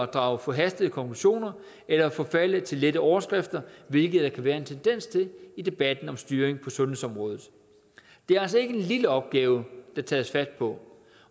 drage forhastede konklusioner eller forfalde til lette overskrifter hvilket der kan være en tendens til i debatten om styring på sundhedsområdet det er altså ikke en lille opgave der tages fat på